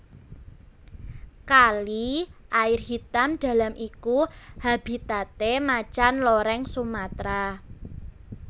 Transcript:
Kali Air Hitam Dalam iku habitate Macan Loreng Sumatra